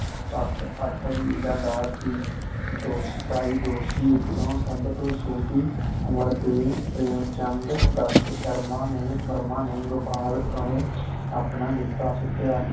ਤੱਕ ਅੱਠ ਵਜ਼ੀਰ ਦਾ ਸੀ ਦੋਸਤਾਈ ਦੋਸ਼ੀ ਵਿੱਚੋ ਸੱਭ ਤੋਂ ਛੋਟੀ ਉਮਰ ਦੇ ਪ੍ਰੇਮ ਚੰਦ ਦੱਤ ਸ਼ਰਮਾ ਨੇ ਵਰਮਾ ਨੇ ਗੋਪਾਲ ਉਤੇ ਆਪਣਾ ਜੋਤਾਂ ਸੁਟਇਆ